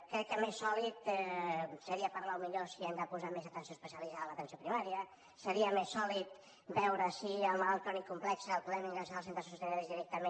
crec que més sòlid seria parlar potser si hem de posar més atenció especialitzada a l’atenció primària seria més sòlid veure si el malalt crònic complex el podem ingressar als centres sociosanitaris directament